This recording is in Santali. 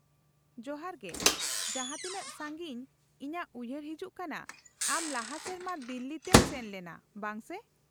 -ᱡᱚᱦᱟᱨ ᱜᱮ, ᱡᱟᱦᱟᱸ ᱛᱤᱱᱟᱹᱜ ᱥᱟᱺᱜᱤᱧ ᱤᱧᱟᱹᱜ ᱩᱭᱦᱟᱹᱨ ᱦᱤᱡᱩᱜ ᱠᱟᱱᱟ ᱟᱢ ᱞᱟᱦᱟ ᱥᱮᱨᱢᱟ ᱫᱤᱞᱞᱤ ᱛᱮᱢ ᱥᱮᱱ ᱞᱮᱱᱟ, ᱵᱟᱝ ᱥᱮ ?